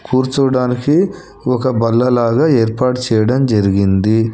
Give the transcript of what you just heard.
కూర్చోవడానికి ఒక బల్లలాగా ఏర్పాటు చేయడం జరిగింది.